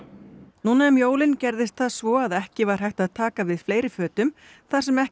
núna um jólin gerðist það svo að ekki var hægt að taka við fleiri fötum þar sem ekki